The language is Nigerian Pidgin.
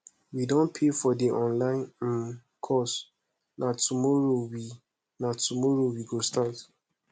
we don pay for the online um course na tomorrow we na tomorrow we go start